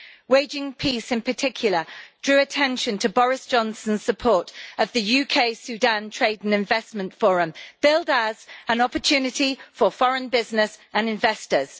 Waging Peace in particular drew attention to Boris Johnson's support of the UK Sudan Trade and Investment Forum, billed as an opportunity for foreign business and investors'.